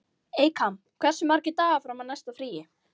Eykam, hversu margir dagar fram að næsta fríi?